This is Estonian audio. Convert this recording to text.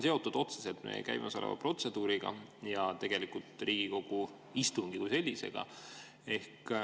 See on otseselt seotud käimasoleva protseduuriga ja Riigikogu istungi kui sellisega.